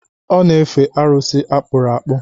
Ọ na-efe arụsị akpụrụ akpụ